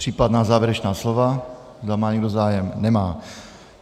Případná závěrečná slova, zda má někdo zájem - nemá.